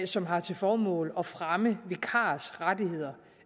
som har til formål at fremme vikarers rettigheder